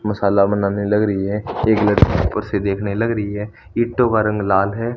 मसाला बनाने लग रही है एक लड़की कुर्सी देखने लग रही है ईंटों का रंग लाल है।